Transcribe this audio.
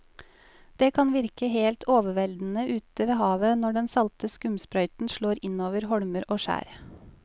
Det kan virke helt overveldende ute ved havet når den salte skumsprøyten slår innover holmer og skjær.